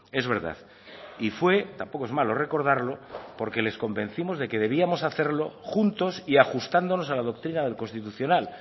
es verdad y fue tampoco es malo recordarlo porque les convencimos de que debíamos hacerlo juntos y ajustándonos a la doctrina del constitucional